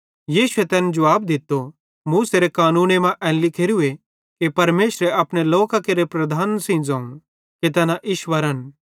यीशुए तैन जुवाब दित्तो पवित्रशास्त्रे मां एन लिखोरू कि परमेशरे अपने लोकां केरे लीडरन सेइं ज़ोवं कि तैना ईश्वरन